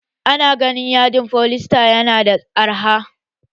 Ana ganin yadin foliesta yana da arha